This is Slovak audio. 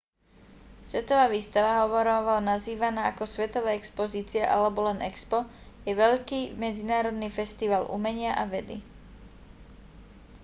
svetová výstava hovorovo nazývaná ako svetová expozícia alebo len expo je veľký medzinárodný festival umenia a vedy